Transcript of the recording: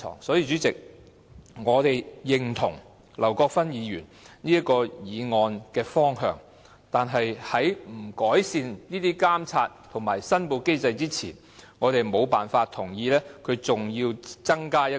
所以，主席，我們認同劉國勳議員的議案的方向，但是在監察和申報機制未獲得改善之前，我們無法同意再增設"社區建設基金"。